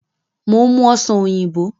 Mo ń mú Ọ̀sán oyinbo